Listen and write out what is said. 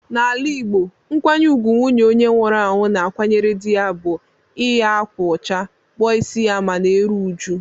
N'ala Igbo, nkwanye ùgwù nwunye onye nwụrụ anwụ na-akwanyere dị ya bụ iyi ákwà ụcha, kpụọ ịsị ma na-eru uju.